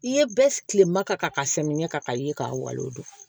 I ye bɛɛ tilema ka samiyɛ ka ye k'a walan o don